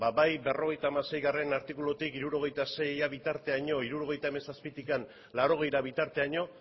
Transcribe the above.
ba bai berrogeita hamaseigarrena artikulutik hirurogeita seira bitartean hirurogeita hamazazpigarrena tik laurogeita bira bitarteraino